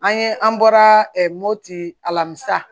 An ye an bɔra moti a la musa